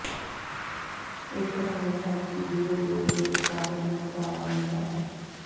ਇੱਕ ਰਾਇ ਹੈ ਕਿ ਬੀਅਰ ਦੁੱਧ ਦੇ ਉਤਪਾਦਨ ਨੂੰ ਵਧਾਵਾ ਦਿੰਦਾ ਹੈ